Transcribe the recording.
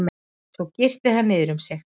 Svo girti hann niður um mig.